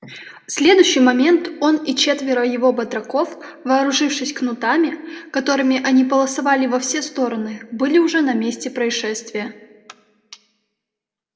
в следующий момент он и четверо его батраков вооружившись кнутами которыми они полосовали во все стороны были уже на месте происшествия